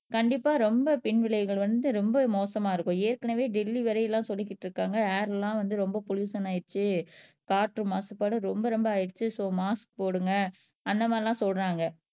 கண்டிப்பா ரொம்ப பின் விளைவுகள் வந்து ரொம்ப மோசமா இருக்கும் ஏற்கனவே டெல்லி வரை எல்லாம் சொல்லிக்கிட்டு இருக்காங்க ஏர் எல்லாம் வந்து ரொம்ப பொலுஷன் ஆயிடுச்சு காற்று மாசுபாடு ரொம்ப ரொம்ப ஆயிடுச்சு சோ மாஸ்க் போடுங்க அந்த மாரி எல்லாம் சொல்றாங்க